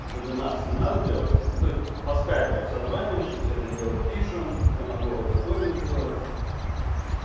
вебинар семинар сделать ну то есть по скайпу созваниваемся всё это дело пишем я могу аудиторию сделать